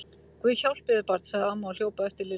Guð hjálpi þér barn! sagði amma og hljóp á eftir Lillu.